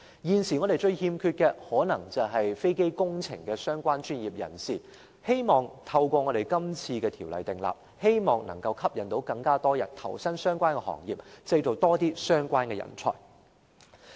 現時，我們最缺少的是與飛機工程相關的專業人士，希望藉這次訂立條例，能吸引更多人投身相關行業，而當局亦會培訓更多相關人才。